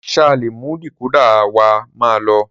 Sà lẹ mú dìkódà wà mà lo?